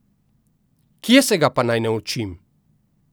Kje se ga pa naj naučim?